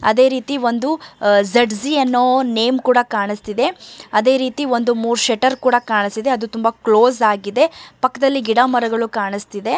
ಅದೇ ರೀತಿ ಒಂದು ಝೆಡ್ ಜಿ ಅನ್ನೂ ನೇಮ್ ಕೂಡ ಕಾಣಿಸ್ತಿದೆ ಅದೇ ರೀತಿ ಒಂದು ಮೂರ್ ಶೆಟ್ಟರ್ ಕೂಡ ಕಾಣಿಸ್ತಿದೆ ಅದು ತುಂಬಾ ಕ್ಲೋಸ್ ಆಗಿದೆ ಪಕ್ಕದಲ್ಲಿ ಗಿಡ ಮರಗಳು ಕಾಣಿಸುತ್ತಿದೆ.